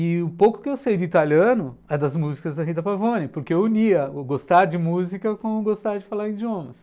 E o pouco que eu sei de italiano é das músicas da Rita Pavone, porque eu unia gostar de música com gostar de falar idiomas.